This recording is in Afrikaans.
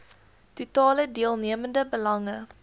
totale deelnemende belange